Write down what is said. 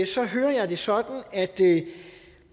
så hører jeg det sådan at